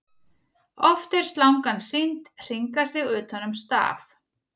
oft er slangan sýnd hringa sig utan um staf